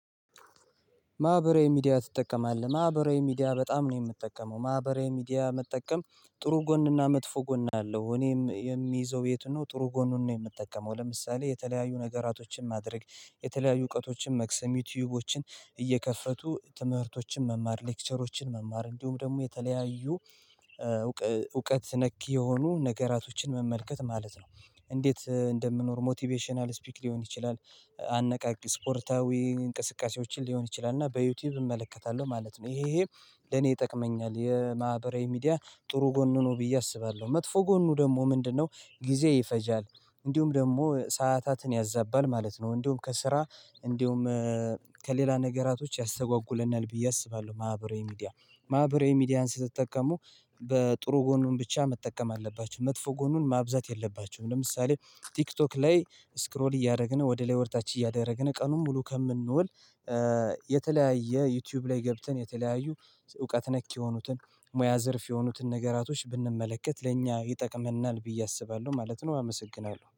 ማህበራዊ ሚዲያ ትጠቀማለህ? ማህበራዊ ሚዲያ በጣም ነው የምጠቀመው ማህበራዊ ሚዲያ መጠቀም ጥሩ ጎንና መጥፎ ጎን አለው እኔም የሚይዘው የት ነው ጥሩ ጎኑን ነው የምጠቀመው ለምሳሌ የተለያዩ ነገራቶችን ማድረግ የተለያዩ እውቀቶችን መቅሰም ዩትዩቦችን እየከፈቱ ትምህርቶችን መማር ለክቸሮችን መማር እንዲሁም ደግሞ የተለያዩ እውቀት ነክ የሆኑ ነገራቶችን መመልከት ማለት ነው። እንዴት እንደምኖር ሞትቨሽናል ስፕች ሊሆን ይችላል። አነቃቂ ስፖርታዊ እንቅስቃሴዎችን ሊሆን ይችላል እና በዩትዩብ እመለከታለሁ ማለት ነው። ይሄ ለእኔ ይጠቅመኛል የማህበራዊ ሚዲያ ጥሩ ጎኑ ነው ብዬ አስባለሁ። መጥፎ ጎኑ ደግሞ ምንድነው? ጊዜ ይፈጃል እንዲሁም ደግሞ ሰዓታትን ያዛባል ማለት ነው። እንዲሁም ከስራ እንዲሁም ከሌላ ነገራቶች ያስተግዋጉለናል ብዬ አስባለሁ። ማህበራዊ ሚዲያ ማህበራዊ ሚዲያን ስትጠቀሙ በጥሩ ጎኑን ብቻ መጠቀም አለባችሁ መጥፎ ጎኑን ማብዛት የለባችሁም። ለምሳሌ ትክቶክ ላይ ስክሮል እያደረግን ወደ ላይ ወደ ታች እያደረግን ቀኑን ሙሉ ከምኗል። የተለያየ ዩትዩብ ላይ ገብተን የተለያዩ እውቀት ነክ የሆኑትን ሙያ ዘርፍ የሆኑትን ነገራቶች ብንመለከት ለእኛ ይጠቅመናል ብዬ አስባለሁ ማለት ነው። አመሰግናለሁ